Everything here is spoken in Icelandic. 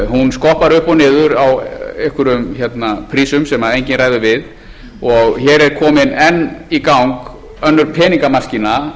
hún skoppar upp og niður á einhverjum prísum sem enginn ræður við og hér er komin enn í gang önnur peningamaskína